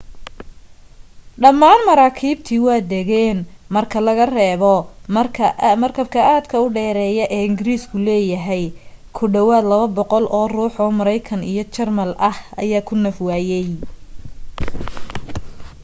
dhammaan maraakiibtii waa degeen marka laga reebo marka aadka u dheereyo ee ingiriisku leeyahay ku dhawaad 200 oo ruux oo maraykan iyo jarmal ah ayaa ku naf waayay